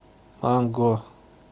манго